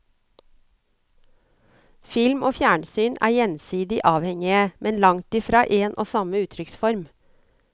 Film og fjernsyn er gjensidig avhengige, men langtfra en og samme uttrykksform.